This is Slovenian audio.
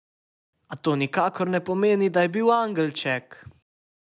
A to nikakor ne pomeni, da je bil angelček!